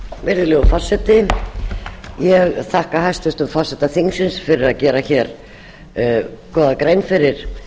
virðulegur forseti ég þakka hæstvirtum forseta þingsins fyrir að gera góða grein fyrir